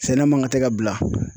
Sɛnɛ man kan tɛ ka bila